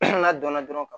n'a donna dɔrɔn